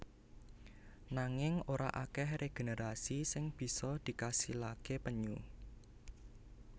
Nanging ora akèh regenerasi sing bisa dikasilaké penyu